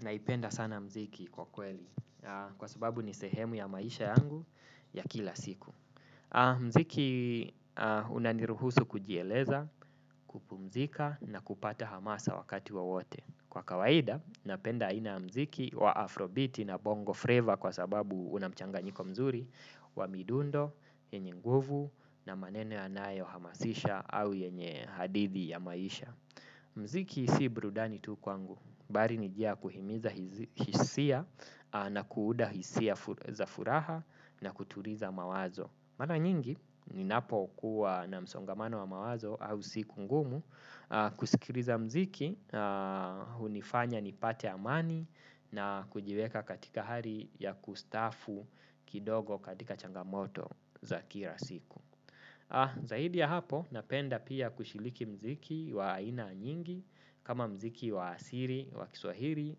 Naipenda sana muziki kwa kweli, kwa sababu ni sehemu ya maisha yangu ya kila siku. Muziki unaniruhusu kujieleza, kupumzika na kupata hamasa wakati wa wote. Kwa kawaida, napenda aina ya muziki wa afrobiti na bongo fleva kwa sababu una mchanganyiko mzuri, wa midundo, yenye nguvu na manene yanayohamasisha au yenye hadithi ya maisha. Muziki si brudani tu wangu, mbali ni nijia kuhimiza hisia na kuuda hisia za furaha na kutuliza mawazo. Mara nyingi, ninapo kuwa na msongamano wa mawazo au siku ngumu, kusikiliza muziki, unifanya nipate amani na kujiweka katika hali ya kustaafu kidogo katika changamoto za kila siku. Zaidi ya hapo napenda pia kushiriki muziki wa ina nyingi. Kama muziki wa asili, wa kiswahili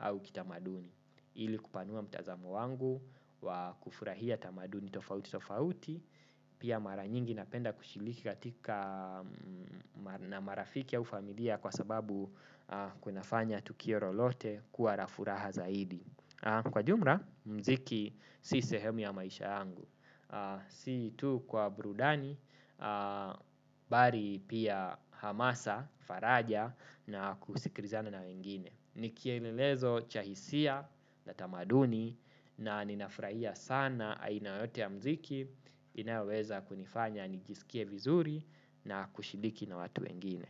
au kitamaduni ili kupanua mtazamo wangu wa kufurahia tamaduni tofauti tofauti pia mara nyingi napenda kushiriki katika na marafiki au familia kwa sababu kunafanya tukir lolote kuwa la furaha zaidi. Kwa jumla muziki si sehemu ya maisha angu. Si tu kwa burudani, bali pia hamasa, faraja na kusikilizana na wengine ni kielelezo cha hisia na tamaduni na ninafurahia sana aina yote ya muziki inayoweza kunifanya nijisikie vizuri na kushiriki na watu wengine.